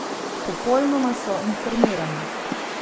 Popolnoma so informirani.